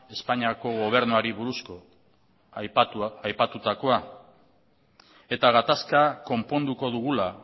espainiako gobernuari buruz aipatutakoa eta gatazka konponduko dugula